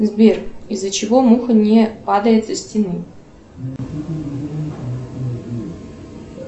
сбер из за чего муха не падает со стены